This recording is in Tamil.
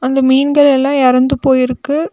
இந்த மீன்கள் எல்லா எறந்து போய் இருக்கு.